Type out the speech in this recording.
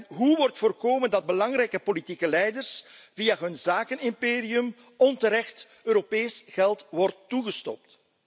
En hoe wordt voorkomen dat belangrijke politieke leiders via hun zakenimperium onterecht Europees geld wordt toegestopt?